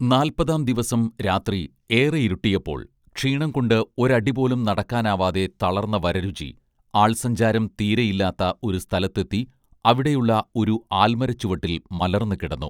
നാല്പതാം ദിവസം രാത്രി ഏറെ ഇരുട്ടിയപ്പോൾ ക്ഷീണം കൊണ്ട് ഒരടിപോലും നടക്കാനാവാതെ തളർന്ന വരരുചി ആൾസഞ്ചാരം തീരെയില്ലാത്ത ഒരു സ്ഥലത്തെത്തി അവിടെയുളള ഒരു ആൽമരച്ചുവട്ടിൽ മലർന്നു കിടന്നു